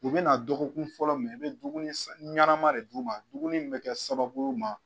U bɛna dɔgɔkun fɔlɔ min na i bɛ duguni ɲanama de d'u ma duguni min bɛ kɛ sababuye u ma.